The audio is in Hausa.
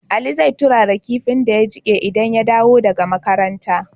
Ali zai turara kinfin da ya jike idan ya dawo daka makaranta